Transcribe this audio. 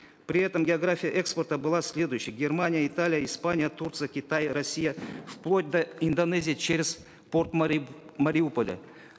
при этом география экспорта была следующей германия италия испания турция китай россия вплоть до индонезии через порт мариуполя